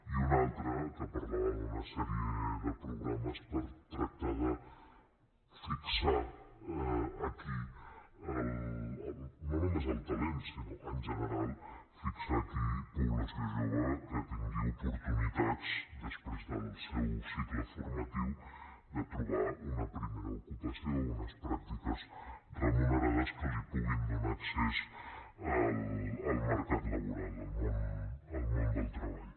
i una altra que parlava d’una sèrie de programes per tractar de fixar aquí no només el talent sinó en general fixar aquí població jove que tingui oportunitats després del seu cicle formatiu de trobar una primera ocupació o unes pràctiques remunerades que li puguin donar accés al mercat laboral al món del treball